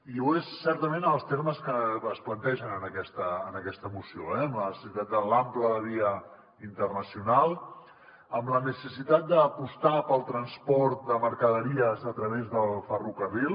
i ho és certament en els termes que es plantegen en aquesta moció eh amb la necessitat de l’ample de via internacional amb la necessitat d’apostar pel transport de mercaderies a través del ferrocarril